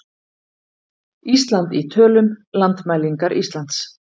Ísland í tölum- Landmælingar Íslands.